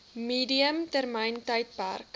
medium termyn tydperk